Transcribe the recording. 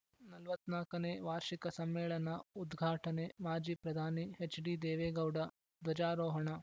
ನಲವತ್ನಾಲ್ಕನೇ ವಾರ್ಷಿಕ ಸಮ್ಮೇಳನ ಉದ್ಘಾಟನೆ ಮಾಜಿ ಪ್ರಧಾನಿ ಎಚ್‌ಡಿದೇವೇಗೌಡ ಧ್ವಜಾರೋಹಣ